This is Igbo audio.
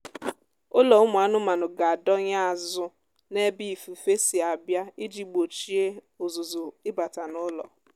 ụlọ ụmụ anụmanụ ga-adọnye azụ n'ebe ifufe si abịa iji gbochie ụzụzụ ịbata n'ụlọ